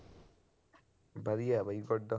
ਵਧੀਆ ਬਈ